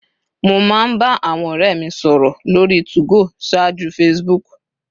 Mo máa ń bá àwọn ọ̀rẹ́ mi sọ̀rọ̀ lórí 2go ṣáájú Facebook